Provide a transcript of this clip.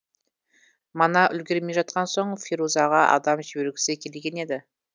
мана үлгермей жатқан соң ферузаға адам жібергісі келген еді